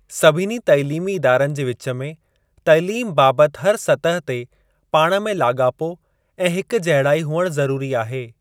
सभिनी तइलीमी इदारनि जे विच में तइलीम बाबति हर सतह ते पाण में लाॻापो ऐं हिकजहिड़ाई हुअणु ज़रूरी आहे।